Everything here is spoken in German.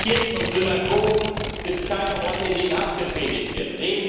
Die Kirchen und Synagogen sind keine Orte, in denen Hass gepredigt wird.